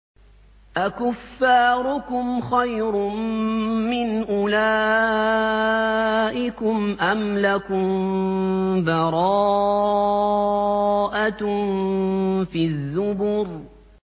أَكُفَّارُكُمْ خَيْرٌ مِّنْ أُولَٰئِكُمْ أَمْ لَكُم بَرَاءَةٌ فِي الزُّبُرِ